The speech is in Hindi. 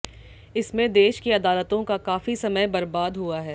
इसमें देश की अदालतों का काफी समय बर्बाद हुआ है